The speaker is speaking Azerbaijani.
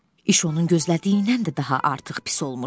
İş onun gözlədiyindən də daha artıq pis olmuşdu.